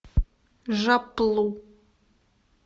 жапплу